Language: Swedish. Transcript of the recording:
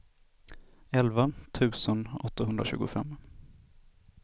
elva tusen åttahundratjugofem